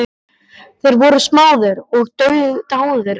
Þeir voru smáðir og dáðir í senn.